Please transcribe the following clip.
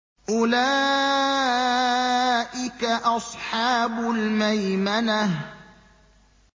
أُولَٰئِكَ أَصْحَابُ الْمَيْمَنَةِ